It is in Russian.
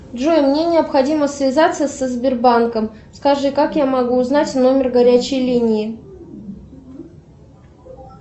джой мне необходимо связаться со сбербанком скажи как я могу узнать номер горячей линии